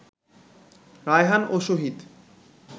রায়হান ও শহীদ